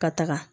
Ka taga